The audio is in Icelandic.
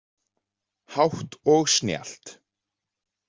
Hátt og snjallt